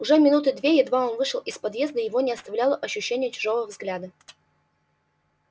уже минуты две едва он вышел из поезда его не оставляло ощущение чужого взгляда